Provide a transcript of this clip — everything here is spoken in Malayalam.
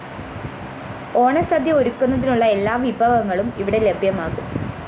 ഓണസദ്യ ഒരുക്കുന്നതിനുള്ള എല്ലാ വിഭവങ്ങളും ഇവിടെ ലഭ്യമാകും